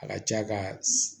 A ka ca ka